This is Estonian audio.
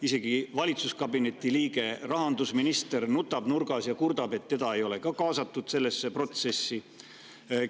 Isegi valitsuskabineti liige rahandusminister nutab nurgas ja kurdab, et teda ei ole sellesse protsessi kaasatud.